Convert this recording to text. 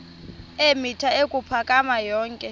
eemitha ukuphakama yonke